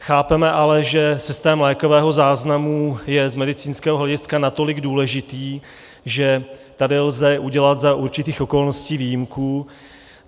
Chápeme ale, že systém lékového záznamu je z medicínského hlediska natolik důležitý, že tady lze udělat za určitých okolností výjimku.